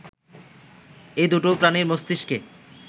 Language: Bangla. এই দুটো প্রাণীর মস্তিষ্কে